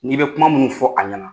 N'i bɛ kuma minnu fɔ a ɲɛna